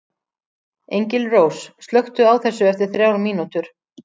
Engilrós, slökktu á þessu eftir þrjár mínútur.